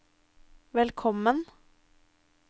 velkommen